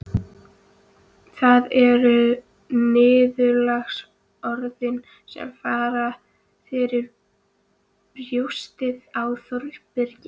En það eru niðurlagsorðin sem fara fyrir brjóstið á Þórbergi